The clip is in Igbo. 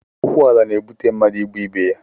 Okwu ala na-ebute mmadụ ịgbụ ibe ya